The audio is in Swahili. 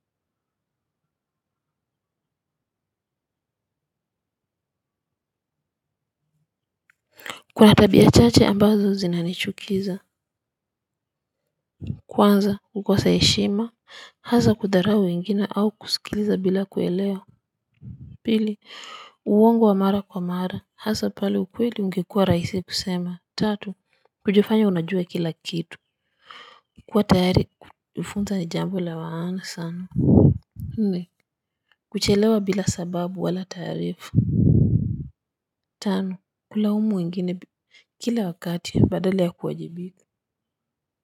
Kuna tabia chache ambazo zinanichukiza. Kwanza kukosa heshima hasa kudharau wengine au kusikiliza bila kuelewa. Pili uongo wa mara kwa mara hasa pale ukweli ungekuwa rahisi kusema tatu. Kujifanya unajua kila kitu. Kuwa tayari kufunzwa ni jambo la maana sana. Nne kuchelewa bila sababu wala taarifa. Tano kulaumu wengine kila wakati badala ya kuwajibika.